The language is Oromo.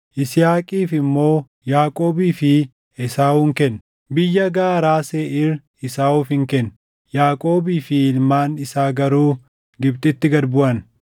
Yisihaaqiif immoo Yaaqoobii fi Esaawun kenne. Biyyaa gaaraa Seeʼiir Esaawufin kenne; Yaaqoobii fi ilmaan isaa garuu Gibxitti gad buʼan.